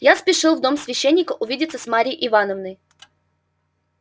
я спешил в дом священника увидеться с марьей ивановной